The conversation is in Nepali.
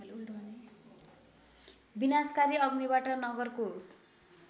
विनाशकारी अग्निबाट नगरको